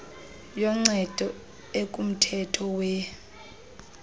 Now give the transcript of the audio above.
yoncedo ekumthetho we